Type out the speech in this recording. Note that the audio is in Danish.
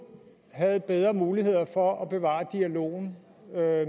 havde bedre muligheder for at bevare dialogen